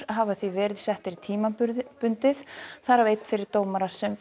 hafa því verið settir tímabundið þar af einn fyrir dómara sem